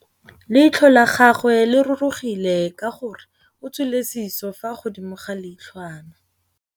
Leitlhô la gagwe le rurugile ka gore o tswile sisô fa godimo ga leitlhwana.